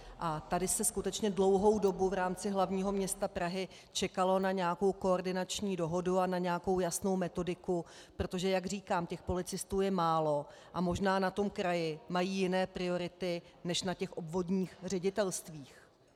A tady se skutečně dlouhou dobu v rámci hlavního města Prahy čekalo na nějakou koordinační dohodu a na nějakou jasnou metodiku, protože jak říkám, těch policistů je málo a možná na tom kraji mají jiné priority než na těch obvodních ředitelstvích.